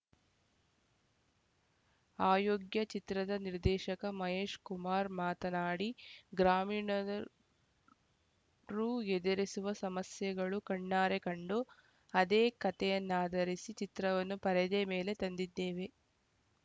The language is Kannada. ಅಯೋಗ್ಯ ಚಿತ್ರದ ನಿರ್ದೇಶಕ ಮಹೇಶಕುಮಾರ ಮಾತನಾಡಿ ಗ್ರಾಮೀಣದ ರು ಎದೆರಿಸುವ ಸಮಸ್ಯೆಗಳು ಕಣ್ಣಾರೆ ಕಂಡು ಅದೇ ಕಥೆಯನ್ನಾಧರಿಸಿ ಚಿತ್ರವನ್ನು ಪರದೆ ಮೇಲೆ ತಂದಿದ್ದೇವೆ